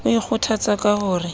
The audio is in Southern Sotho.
o ikgothatsa ka ho re